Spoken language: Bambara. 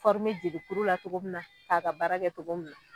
jelikuru la cogo min na, a ka baara kɛ togo min na.